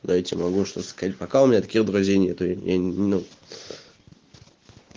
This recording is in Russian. да я тебе могу что-то сказать пока у меня таких друзей нету я не ну